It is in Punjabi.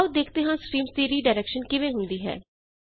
ਆਓ ਦੇਖਦੇ ਹਾਂ ਸਟ੍ਰੀਮਜ਼ ਦੀ ਰੀਡਾਇਰੈਕਸ਼ਨ ਕਿਵੇਂ ਹੁੰਦੀ ਹੈ